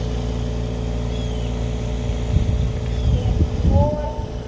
En hvorn?